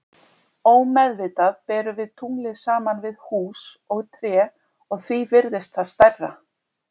Ómeðvitað berum við tunglið saman við hús og tré og því virðist það stærra.